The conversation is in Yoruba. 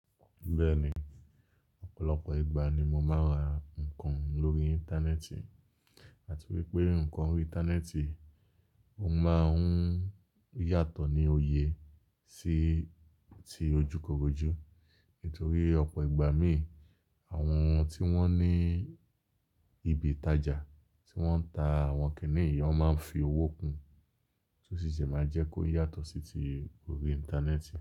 Bẹ́ẹ̀ni, ọ̀pọ̀lọpọ̀ ìgbà ni mo máa ń ra nǹkan lórí Íńtánẹ́ẹ̀tì àti wípé nǹkan orí Íńtánẹ́ẹ̀tì ó máa ń yàtọ̀ ní òye sí ti ojúkorojú. Nítorí ọ̀pọ̀ ìgbà mí, àwọn tí wón ní ibi ìtajà tí wọ́n ń ta àwọn kìnì yii won máa ń fi owó kun, tó sì jẹ máa jẹ́ kó yà tọ̀ sí ti orí Íńtánẹ́ẹ̀tì.